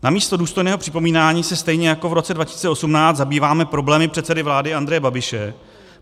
Namísto důstojného připomínání se stejně jako v roce 2018 zabýváme problémy předsedy vlády Andreje Babiše.